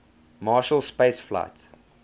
marshall space flight